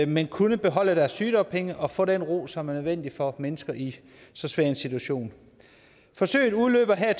men kunne beholde deres sygedagpenge og få den ro som er nødvendig for mennesker i så svær en situation forsøget udløber her